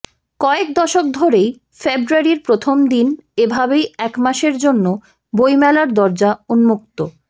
কয়েক দশক ধরেই ফেব্রুয়ারির প্রথম দিন এভাবেই একমাসের জন্য বইমেলার দরজা উন্মুক্ত